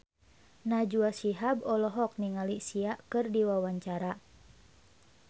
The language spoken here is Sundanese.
Najwa Shihab olohok ningali Sia keur diwawancara